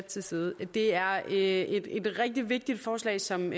til side det er et rigtig vigtigt forslag som